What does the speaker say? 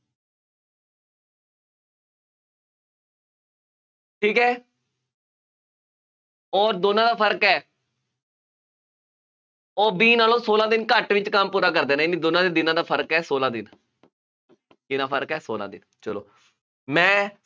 ਠੀਕ ਹੈ। ਅੋਰ ਦੋਨਾਂ ਦਾ ਫਰਕ ਹੈ ਉਹ B ਨਾਲੋਂ ਸੋਲਾਂ ਦਿਨ ਘੱਟ ਵਿੱਚ ਕੰਮ ਪੂਰਾ ਕਰਦੇ ਨੇ, ਯਾਨੀ ਦੋਨਾਂ ਦੇ ਦਿਨਾਂ ਦਾ ਫਰਕ ਹੈ, ਸੋਲਾਂ ਦਿਨ ਕਿੰਨਾ ਫਰਕ ਹੈ ਸੋਲਾਂ ਦਿਨ, ਚੱਲੋ ਮੈਂ